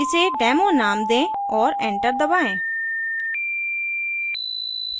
इसे demo name दें और enter दबाएँ